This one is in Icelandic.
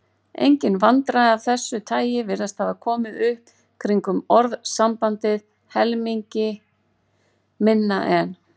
Engin vandræði af þessu tagi virðast hafa komið upp kringum orðasambandið helmingi minna en.